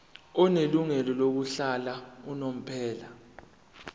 onelungelo lokuhlala unomphela